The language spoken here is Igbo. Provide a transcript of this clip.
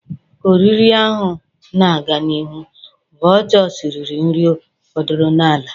Ka oriri ahụ na-aga n'ihu, vultures riri nri fọdụrụnụ n'ala.